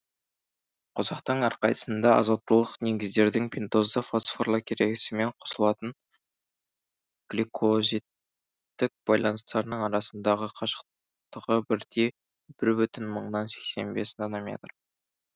қосақтың әрқайсысында азоттылық негіздердің пентозды фосфорлы керегесімен қосылатын гликозидтік байланыстарының арасындағы қашықтығы бірдей бір бүтін мыңнан сексен бес нанометр